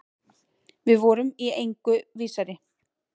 Við vorum í engu vísari.